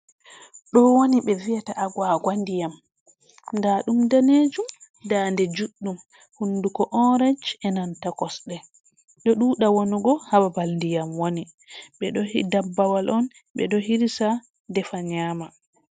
Ɗo woni ɓe vi’ata aguwaga ndiyam, ndaa ɗum daneejum, daande juɗɗum, hunnduko oorec, e nanta kosɗe, ɗo ɗuuɗa wanugo haa babal ndiyam woni. Ɓe ɗo dabbawal on, ɓe ɗo hirsa, defa nyaama.